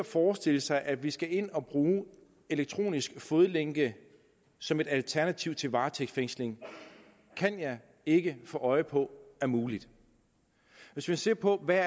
forestille sig at vi skal ind og bruge elektronisk fodlænke som et alternativ til varetægtsfængsling kan jeg ikke få øje på er muligt hvis man ser på hvad